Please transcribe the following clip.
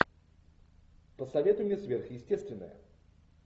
посоветуй мне сверхъестественное